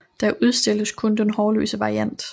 Der udstilles kun den hårløse variant